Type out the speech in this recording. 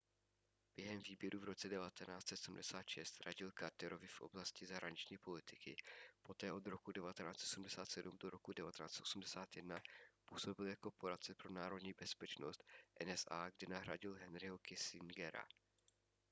během výběrů v roce 1976 radil carterovi v oblasti zahraniční politiky poté od roku 1977 do roku 1981 působil jako poradce pro národní bezpečnost nsa kde nahradil henryho kissingera